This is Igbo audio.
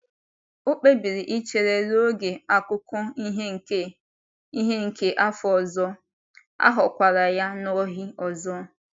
O kpebiri ichere ruo oge akụkụ ihe nke ihe nke afọ ọzọ, a ghọkwara ya n’ohi ọzọ.